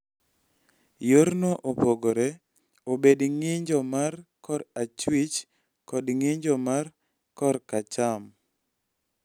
Yorno opogore obed ng�injo mar ng�injo ma korachwich kod ng�injo mar ng�injo ma koracham.